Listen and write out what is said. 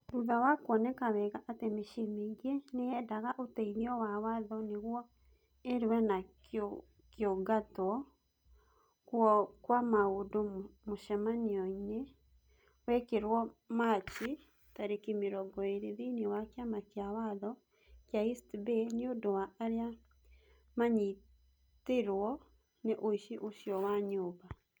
Thutha wa kuoneka wega atĩ mĩciĩ mĩingĩ nĩ yendaga ũteithio wa watho nĩguo irũe na kũingatwo kũu kwa andũ, mũcemanio nĩ wekirũo Machi tarĩki mĩrongo ĩĩrĩ thĩinĩ wa Kĩama kĩa Watho kĩa East Bay nĩ ũndũ wa arĩa maanyitirũo nĩ ũici ũcio wa nyũmba